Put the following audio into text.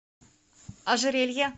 ожерелье